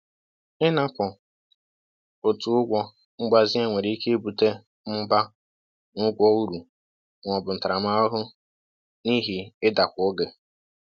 Inapụ otu ụgwọ mgbazinye nwere ike ibute mmụba na ụgwọ uru ma ọ bụ ntaramahụhụ n’ihi idakwa oge.